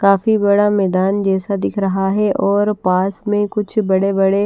काफी बड़ा मैदान जैसा दिख रहा है और पास में कुछ बड़े-बड़े--